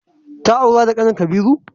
Ta aura da kanin Kabiru?